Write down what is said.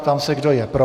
Ptám se, kdo je pro.